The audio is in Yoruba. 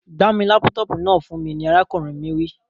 Gba mi laputopu náà fun mi ni arakunrin mi wi.